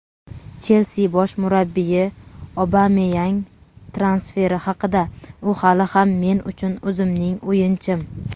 "Chelsi" bosh murabbiyi Obameyang transferi haqida: "U hali ham men uchun o‘zimning o‘yinchim";.